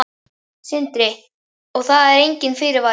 Sindri: Og það var enginn fyrirvari?